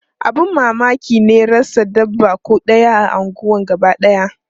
Abun mamaki ne rasa dabba ko ɗaya a unguwar gabadaya.